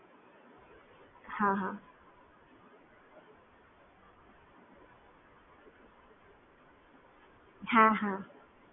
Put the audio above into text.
હ